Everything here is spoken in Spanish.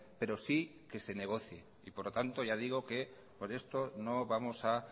pero sí que se negocie por lo tanto ya digo que por esto no vamos a